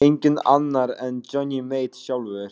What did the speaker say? Enginn annar en Johnny Mate sjálfur.